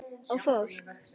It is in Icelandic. Og fólk!